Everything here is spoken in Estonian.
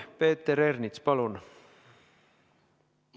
Peeter Ernits, palun!